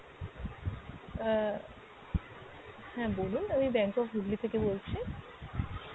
আহ হ্যাঁ বলুন আমি bank of Hooghly থেকে বলছি।